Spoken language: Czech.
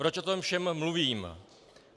Proč o tom všem mluvím?